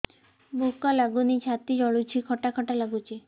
ଭୁକ ଲାଗୁନି ଛାତି ଜଳୁଛି ଖଟା ଖଟା ଲାଗୁଛି